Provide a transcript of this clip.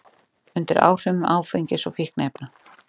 Undir áhrifum áfengis og fíkniefna